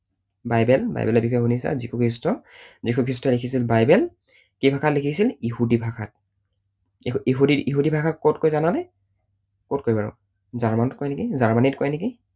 Bible, বাইবেলৰ বিষয়ে শুনিছা, যীশুখ্ৰীষ্ট, যীশুখ্ৰীষ্টই লিখিছিল বাইবেল। কি ভাষাত লিখিছিল? ইহুদী ভাষাত। ইহুদী ইহুদী ভাষা কত কয় জানানে? কত কয় বাৰু? জাৰ্মানত কয় নেকি, জাৰ্মানীত কয় নেকি।